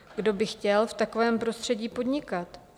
Kdo by chtěl v takovém prostředí podnikat?